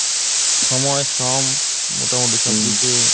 সময় শ্রম মোটা মুটি সবকিছুই